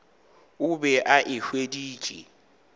o be a e hweditše